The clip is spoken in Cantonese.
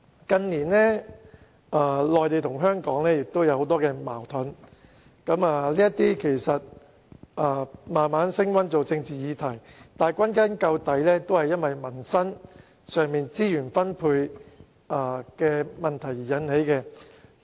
近年內地與香港之間出現很多矛盾，這些矛盾更慢慢升溫變成政治議題，但歸根究底與民生資源分配有關。